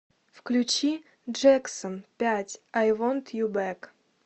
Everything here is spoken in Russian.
включи джэксон пять ай вонт ю бэк